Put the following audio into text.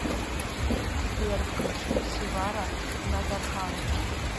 сбер включи севара назархан